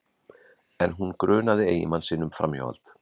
En hún grunaði eiginmanninn um framhjáhald